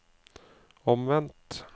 omvendt